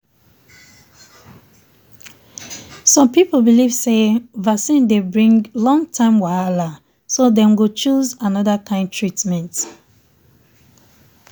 some people believe say vaccine dey bring long term wahala so dem go choose another kind treatment.